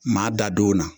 Maa da don na